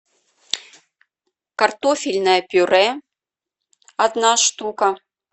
картофельное пюре одна штука